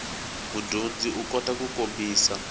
mudyondzi u kota ku kombisa